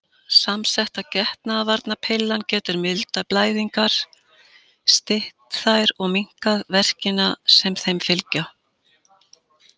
Samsetta getnaðarvarnarpillan getur mildað blæðingar, stytt þær og minnkað verkina sem þeim fylgja.